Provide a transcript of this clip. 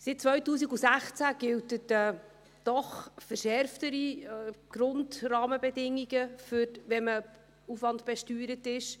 Seit 2016 gelten doch verschärftere Grundrahmenbedingungen, wenn man nach Aufwand besteuert ist.